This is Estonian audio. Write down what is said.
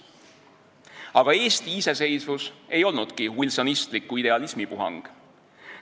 Aga Eesti iseseisvus ei olnudki wilsonistliku idealismi puhang.